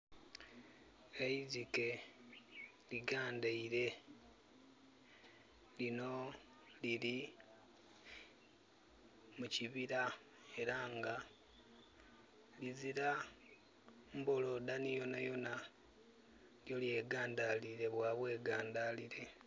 Eizike ligandaire. Lino liri mukibira era nga lizira mbolodani yonayona. Lye gandilire bwa gandalire